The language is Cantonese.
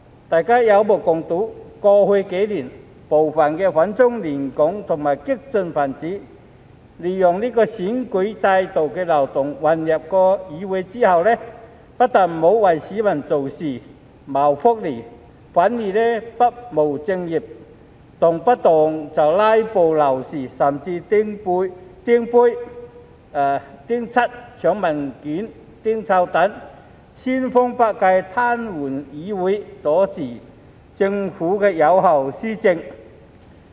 大家有目共睹，過去幾年，部分反中亂港和激進分子利用選舉制度的漏洞混入議會後，不但沒有為市民做事、謀福利，反而不務正業，動輒"拉布"鬧事，甚至擲杯、潑漆油、搶文件、擲臭彈，千方百計癱瘓議會，阻止政府有效施政。